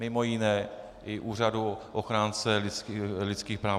Mimo jiné i úřadu ochránce lidských práv.